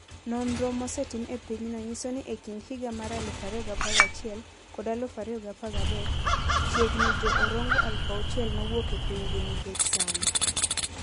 Nonro mosetim e pinyno nyiso ni e kind higa mar 2011 kod 2013, chiegni Jo - Orongo 6,000 nowuok e pinygi nikech sand.